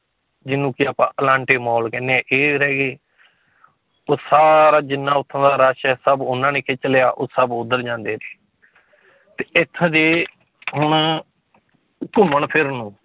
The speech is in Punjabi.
ਜਿਹਨੂੰ ਕਿ ਆਪਾਂ ਅਲਾਂਟੇ ਮਾਲ ਕਹਿੰਦੇ ਹਾਂ ਇੱਕ ਇਹ ਰਹਿ ਗਏ ਉਹ ਸਾਰਾ ਜਿੰਨਾ ਉੱਥੋਂ ਦਾ rush ਹੈ ਸਭ ਉਹਨਾਂ ਨੇ ਖਿੱਚ ਲਿਆ, ਉਹ ਸਭ ਉੱਧਰ ਜਾਂਦੇ ਨੇ ਤੇ ਇੱਥੋਂ ਦੇ ਹੁਣ ਘੁੰਮਣ ਫਿਰਨ ਨੂੰ